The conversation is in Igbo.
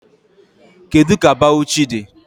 Kedu ka Bawuchi dị?